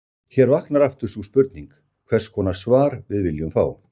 Hér vaknar aftur sú spurning, hvers konar svar við viljum fá.